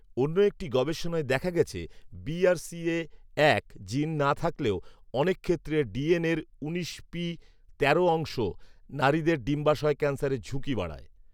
অন্য একটি গবেষণায় দেখা গেছে, বি আর সি এ এক জিন না থাকলেও, অনেক ক্ষেত্রে ডি এন এর উনিশ পি তেরো অংশ নারীদের ডিম্বাশয় ক্যান্সারের ঝুঁকি বাড়ায়।